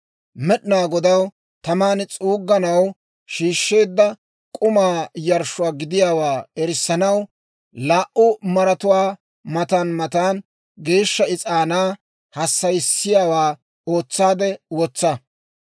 Med'inaa Godaw taman s'uugganaw shiishsheedda k'umaa yarshshuwaa gidiyaawaa erissanaw, laa"u maaratuwaa matan matan geeshsha is'aanaa hassayisiyaawaa ootsaade wotsa.